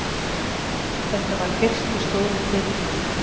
Þetta var fyrsti stóri titillinn minn.